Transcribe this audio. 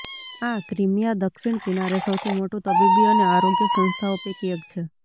આ ક્રિમીયા દક્ષિણ કિનારે સૌથી મોટું તબીબી અને આરોગ્ય સંસ્થાઓ પૈકી એક છે